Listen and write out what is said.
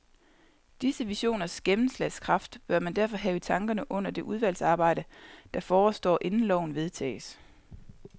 Disse visioners gennemslagskraft bør man derfor have i tankerne under det udvalgsarbejde, der forestår inden loven vedtages.